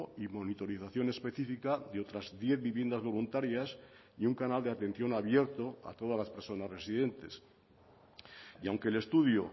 y monitorización específica de otras diez viviendas voluntarias y un canal de atención abierto a todas las personas residentes y aunque el estudio